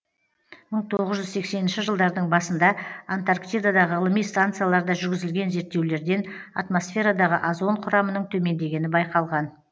мың тоғыз жүз сексенінші жылдардың басында антарктидадағы ғылыми станцияларда жүргізілген зерттеулерден атмосферадағы озон құрамының төмендегені байқалған